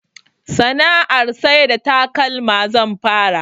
Sana'ar sai da takalma zan fara